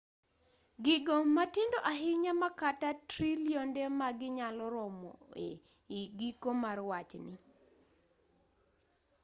gigo matindo ahinya ma kata trilionde maggi nyalo romo e i giko mar wachni